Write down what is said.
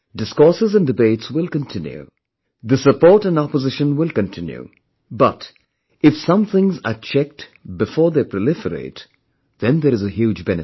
Discourses and debates will continue, the support and opposition will continue, but, if some things are checked before they proliferate, then there is a huge benefit